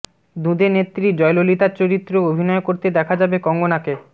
দুঁদে নেত্রী জয়ললিতার চরিত্রেও অভিনয় করতে দেখা যাবে কঙ্গনাকে